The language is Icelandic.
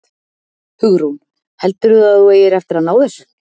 Hugrún: Heldurðu að þú eigir eftir að ná þessu?